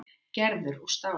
Gerður úr stáli.